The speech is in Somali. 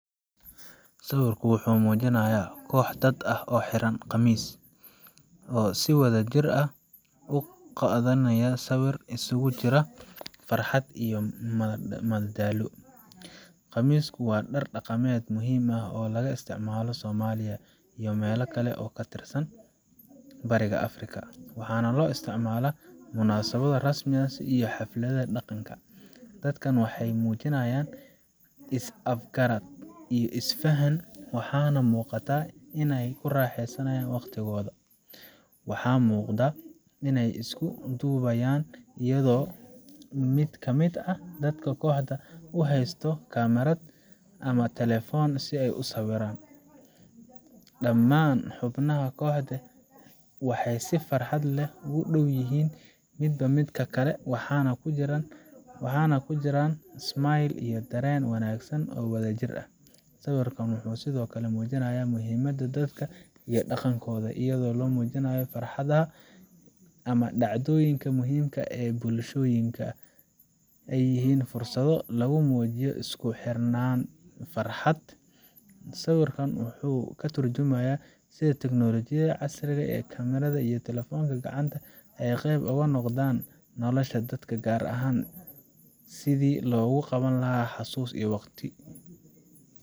Sawirkan wuxuu muujinayaa koox dad ah oo xiran qamis, oo si wadajir ah u qaadaya sawir isugu jira farxad iyo madadaalo. qamisku waa dhar dhaqameed muhiim ah oo laga isticmaalo Soomaaliya iyo meelo kale oo ka tirsan Bariga Afrika, waxaana loo isticmaalaa munaasabado rasmi ah iyo xafladaha dhaqanka. Dadkani waxay muujinayaan is afgarad iyo is faham, waxaana muuqata inay ku raaxaysanayaan waqtigooda. Waxaa muuqda inay isku duubayan, iyadoo mid ka mid ah dadka kooxda uu haysto kamarad ama telefoon si uu u sawiro. Dhammaan xubnaha kooxda waxay si farxad leh ugu dhow yihiin midba midka kale, waxaana ku jiraan smile iyo dareen wanaagsan oo wadajir ah. Sawirkan wuxuu sidoo kale muujinayaa muhiimadda dadka iyo dhaqankooda, iyadoo la muujinayo in xafladaha ama dhacdooyinka muhiimka ah ee bulshooyinka, ay yihiin fursado lagu muujiyo isku xirnaanta iyo farxadda. Intaa waxaa dheer, sawirka wuxuu ka tarjumayaa sida teknoolojiyada casriga ah ee kamaradaha iyo telefoonnada gacanta ay qayb uga noqdeen nolosha dadka, gaar ahaan sidii loogu qaban lahaa xusuus waqtiyo.